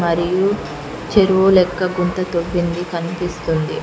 మరియు చెరువు లెక్క గుంత తొవింది కనిపిస్తుంది.